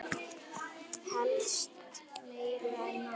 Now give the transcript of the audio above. Helst meira en nóg.